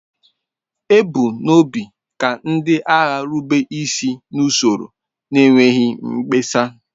E bu n'obi ka ndị agha rube isi n'usoro n'enweghị mkpesa.